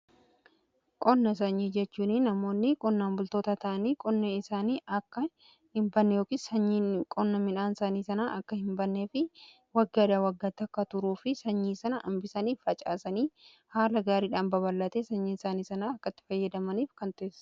Qonna sanyii jechuun namoonni qonnaan bultoota ta'anii qonne isaanii akka hin banne ykn sanyii qonna midhaan isaanii sanaa akka hin bannee fi waggadha waggaati akka turuu fi sanyii sana hambisaniif facaasanii haala gaariidhaan babal'atee sanyii isaanii sana akka itti fayyadamaniif kan taasisu.